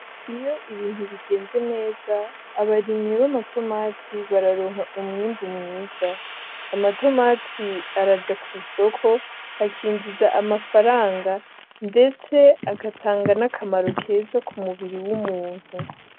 Iyo ibintu bigenze neza abarimyi b'amatomati bararonka umwimbu mwiza, amatomati araja ku isoko bakinjiza amafaranga ndetse agatanga n'akamaro keza k'umubiri w'umuntu.